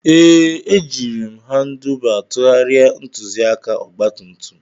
Ee, ejiri m Handuba tụgharịa ntụzịaka ọgba tum tum